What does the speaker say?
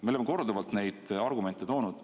Me oleme korduvalt neid argumente toonud.